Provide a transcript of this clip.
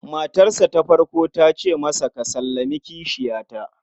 Matarsa ta farko ta ce masa, "Ka sallami kishiyata".